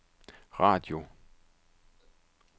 radio